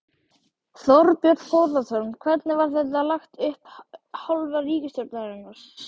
Þorbjörn Þórðarson: Hvernig var þetta lagt upp af hálfu ríkisstjórnarinnar?